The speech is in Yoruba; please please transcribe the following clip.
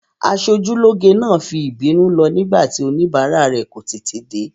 Aṣojúlóge náà fi ìbínú lọ nígbà tí oníbàárà rẹ̀ kò tètè dé.